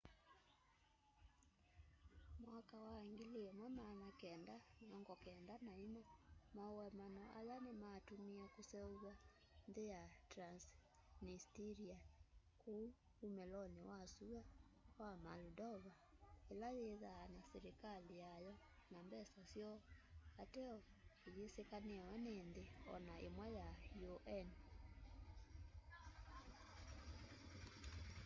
mwaka wa 1994 maũemano aya nĩmatũmĩe kũseũvw'a nthĩ ya transnistria kũũ ũmĩlonĩ wa sũa wa moldova ĩla yĩthaa na silĩkalĩ yayo na mbesa syoo ateo ĩyĩsĩkanĩwe nĩ nthĩ ona ĩmwe sya un